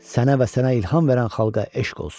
Sənə və sənə ilham verən xalqa eşq olsun!